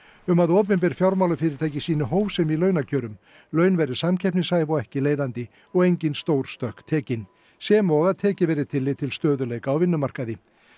um að opinber fjármálafyrirtæki sýni hófsemi í launakjörum laun verði samkeppnishæf og ekki leiðandi og engin stór stökk tekin sem og að tekið verði tillit til stöðugleika á vinnumarkaði